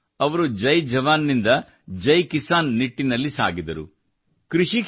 ಅಂದರೆ ಅವರು ಜೈ ಜವಾನ್ ನಿಂದ ಜೈ ಕಿಸಾನ್ ನಿಟ್ಟಿನಲ್ಲಿ ಸಾಗಿದರು